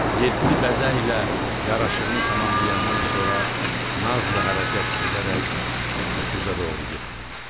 Yeddi bəzəyə yaraşığını tamamlayandan sonra nazla hərəkət edərək öküzə doğru getdi.